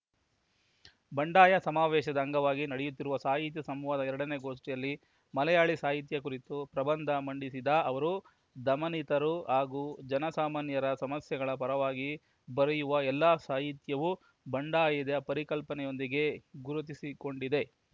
ಬಂಡಾಯ ಸಮಾವೇಶದ ಅಂಗವಾಗಿ ನಡೆಯುತ್ತಿರುವ ಸಾಹಿತ್ಯ ಸಂವಾದದ ಎರಡನೇ ಗೋಷ್ಠಿಯಲ್ಲಿ ಮಲಯಾಳಿ ಸಾಹಿತ್ಯ ಕುರಿತು ಪ್ರಬಂಧ ಮಂಡಿಸಿದ ಅವರು ದಮನಿತರು ಹಾಗೂ ಜನಸಾಮಾನ್ಯರ ಸಮಸ್ಯೆಗಳ ಪರವಾಗಿ ಬರೆಯುವ ಎಲ್ಲ ಸಾಹಿತ್ಯವೂ ಬಂಡಾಯದ ಪರಿಕಲ್ಪನೆಯೊಂದಿಗೆ ಗುರುತಿಸಿಕೊಂಡಿದೆ